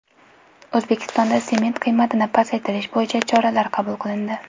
O‘zbekistonda sement qiymatini pasaytirish bo‘yicha choralar qabul qilindi.